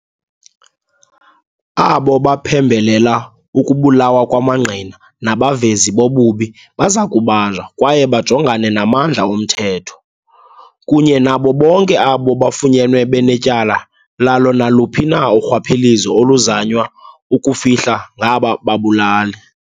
Abo baphembelela ukubulawa kwamangqina nabavezi bobubi baza kubanjwa kwaye bajongane namandla omthetho, kunye nabo bonke abo bafunyenwe benetyala lalo naluphi na urhwaphilizo oluzanywa ukufihla ngaba babulali.